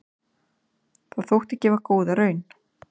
Það þótti gefa góða raun.